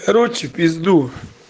короче в пизду